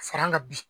Fara an ka bi